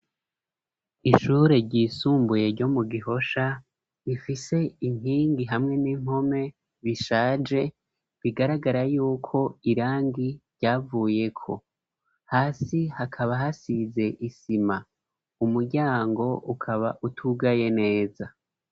Ishure ryisumbuye, ryo mu Gihosha, rifise inkingi, hamwe n'impome, bishaje; bigaragara y'uko, irangi ryavuyeko; hasi hakaba, hasize isima, umuryango ukaba, utugaye neza.